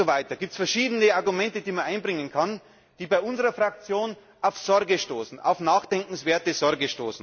Und so weiter. Es gibt verschiedene Argumente, die man einbringen kann, die bei unserer Fraktion auf Sorge stoßen, auf nachdenkenswerte Sorge.